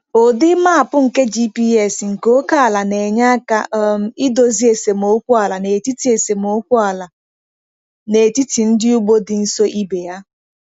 Ụdị map nke GPS nke ókè ala na-enye aka um idozi esemokwu ala n’etiti esemokwu ala n’etiti ndị ugbo dị nso ibe ha.